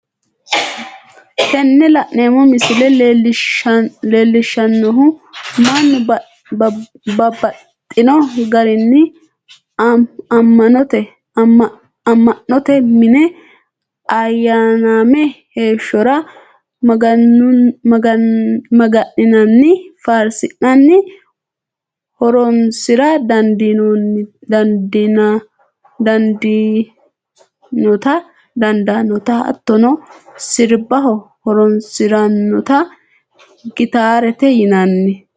Tini la'neemo misile leellishanohu mannu babaxxino garinni ama'note mine ayaname heeshorra maganannina faarisiranni horonsira dandanotta hattonno siribaho horonsiranotta gittaarete yinanni